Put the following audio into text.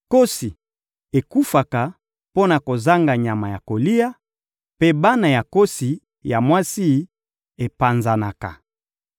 Nkosi ekufaka mpo na kozanga nyama ya kolia, mpe bana ya nkosi ya mwasi epanzanaka.